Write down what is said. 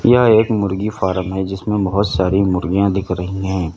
यह एक मुर्गी फार्म है जिसमें बहोत सारी मुर्गियां दिख रही हैं।